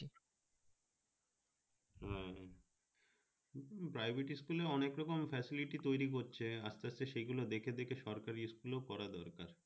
private school এ অনেক রকম facility তৈরি করছে আস্তে আস্তে সেই গুলো দেখে দেখে সরকারি school এ ও করা দরকার